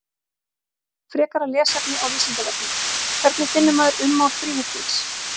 Frekara lesefni á Vísindavefnum: Hvernig finnur maður ummál þríhyrnings?